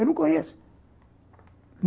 Eu não conheço.